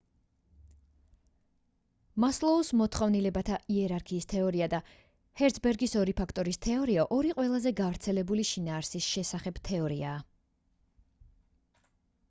მასლოუს მოთხოვნილებათა იერარქიის თეორია და ჰერცბერგის ორი ფაქტორის თეორია ორი ყველაზე გავრცელებული შინაარსის შესახებ თეორიაა